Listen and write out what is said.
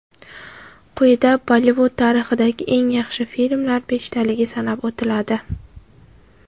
Quyida Bollivud tarixidagi eng yaxshi filmlar beshtaligi sanab o‘tiladi.